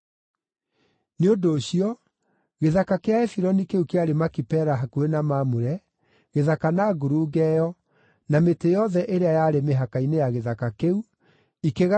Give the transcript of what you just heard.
Nĩ ũndũ ũcio, gĩthaka kĩa Efironi kĩu kĩarĩ Makipela hakuhĩ na Mamure-gĩthaka na ngurunga ĩyo, na mĩtĩ yothe ĩrĩa yarĩ mĩhaka-inĩ ya gĩthaka kĩu ikĩgarũrĩrwo